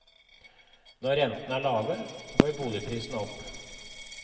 Når rentene er lave, går boligprisene opp.